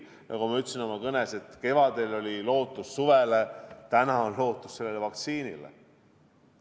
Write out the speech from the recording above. Nagu ma ütlesin oma kõnes, et kevadel oli lootus suvele, täna on lootus vaktsiinile.